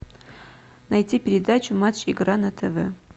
найти передачу матч игра на тв